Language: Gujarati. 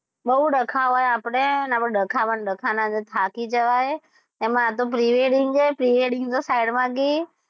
બવ ડખા હોય આપડે આ ડખામાં ડખામાં થાકી જવાય એમાં આ તો pre -wedding છે pre -wedding તો side માં ગઈ,